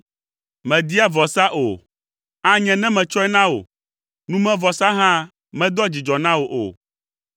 Mèdia vɔsa o, anye ne metsɔe na wò; numevɔsa hã medoa dzidzɔ na wò o.